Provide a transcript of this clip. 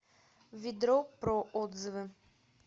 ведропро отзывы